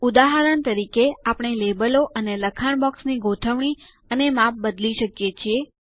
ઉદાહરણ તરીકે આપણે લેબલો અને લખાણ બોક્સની ગોઠવણી અને માપ બદલી શકીએ છીએ